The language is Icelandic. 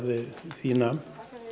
því nam